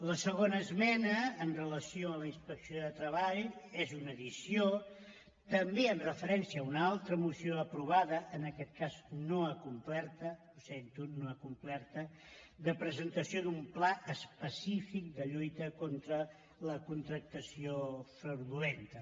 la segona esmena amb relació a la inspecció de treball és una addició també amb referència a una altra moció aprovada en aquesta cas no acomplerta ho sento no acomplerta de presentació d’un pla específic de lluita contra la contractació fraudulenta